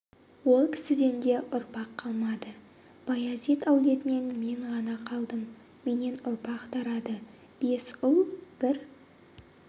ол кісіден де ұрпақ қалмады баязит әулетінен мен ғана қалдым менен ұрпақ тарады бес ұл бір